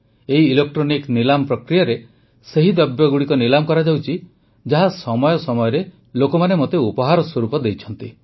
ଏହି ଇଲେକ୍ଟ୍ରନିକ୍ ନିଲାମ ପ୍ରକ୍ରିୟାରେ ସେହି ଦ୍ରବ୍ୟଗୁଡ଼ିକ ନିଲାମ କରାଯାଉଛି ଯାହା ସମୟ ସମୟରେ ଲୋକେ ମୋତେ ଉପହାର ରୂପେ ଦେଇଛନ୍ତି